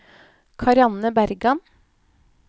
Karianne Bergan